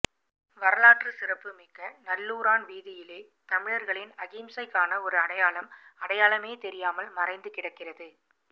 வரலாற்றுச்சிறப்பு மிக்க நல்லூரான் வீதியிலே தமிழர்களின் அகிம்சைக்கான ஒரு அடையாளம் அடையாளமே தெரியாமல் மறைந்து கிடக்கின்றது